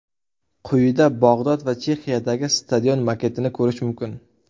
Quyida Bog‘dod va Chexiyadagi stadion maketini ko‘rish mumkin.